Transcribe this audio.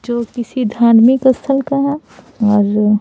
जो किसी धार्मिक स्थल का है और --